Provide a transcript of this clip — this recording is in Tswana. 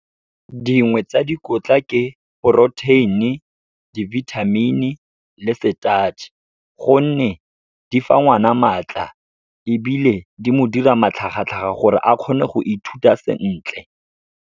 Dingwe tsa dikotla ke protein-e, di-vitamin-e le starch-e, gonne di fa ngwana maatla ebile di mo dira matlhagatlhaga gore a kgone go ithuta sentle.